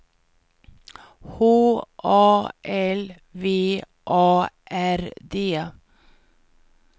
H A L V A R D